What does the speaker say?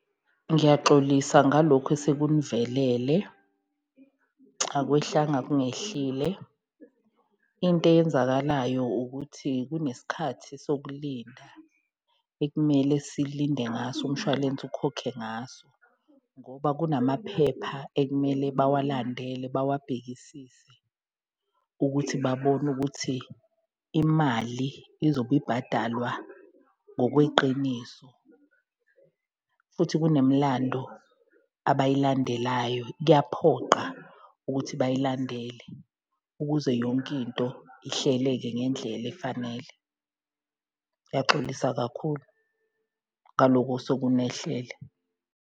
Ngiyaxolisa ngalokhu esekunivelele akwehlanga kungehlile. Into eyenzakalayo ukuthi kunesikhathi sokulinda ekumele silinde ngaso, umshwalense ukhokhe ngaso ngoba kunamaphepha ekumele bawalandele bawabhekisise ukuthi babone ukuthi imali izobe ibhadalwa ngokweqiniso. Futhi kunemlando abayilandelayo, kuyaphoqa ukuthi bayilandele ukuze yonke into ihleleke ngendlela efanele. Ngiyaxolisa kakhulu ngaloko osekunehlele.